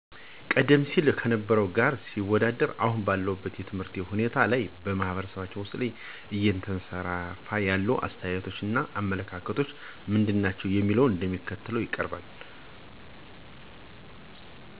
ቀደም ሲል ከነበረው ጋር ሲወዳደር አሁን ባለው የትምህርት ሁናቴ ላይ በማህበረሰባችን ውስጥ እየተንሰራፋ ያሉት አስተያየቶች እና አመለካከቶች ምንድናቸው ለሚለው እንደሚከተለው ይቀርባል፦ በመጀመሪያ ጀረጃ ትምህርት ትውልድ መቅረጽ አቁሟል፣ ትምህርቶች ቤቶች ተማሪወች ምግባርን እንዲኖራቸው አላደረገም የሚል ነው። በሁለተኛ ደረጃ ደግሞ ትምህርት የሰውን የኑሮ ደረጃ አያሻሽልም የሚል እሳቤ ነው ይሕንም ፍረጃ ያደረጉት የመምህራንን አና የቤተሰባቸውን የኑሮ ሁኔታ በመመልከት ነው።